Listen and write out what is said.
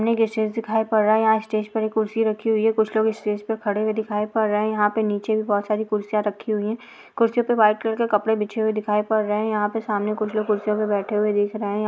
दिखाई पड़ रहा है स्टेज पर एक कुर्सी रखी हुई है कुछ लोग स्टेज पर खड़े हुए दिखाई पड़ रहे हैं यहाँ पे नीचे बहुत सारी कुर्सियां रखी हुई कुर्सी पर व्हाइट कलर कपड़े बिछे हुए दिखाई पर रहे हैं यहाँ पे सामने कुछ लोग कुर्सी पर बैठे हुए दिख रहे हैं या --